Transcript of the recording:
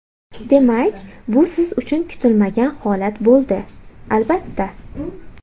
Demak, bu siz uchun kutilmagan holat bo‘ldi... Albatta.